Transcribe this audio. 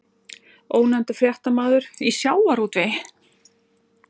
Ónefndur fréttamaður: Í sjávarútvegi?